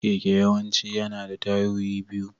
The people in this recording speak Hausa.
Keke yawanci yana da tayoyi biyu.